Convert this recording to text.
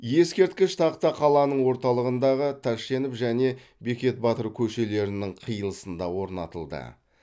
ескерткіш тақта қаланың орталығындағы тәшенов және бекет батыр көшелерінің қиылысында орнатылды